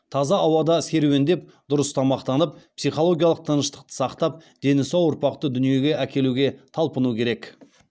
таза ауада серуендеп дұрыс тамақтанып психологиялық тыныштықты сақтап дені сау ұрпақты дүниеге әкелуге талпыну керек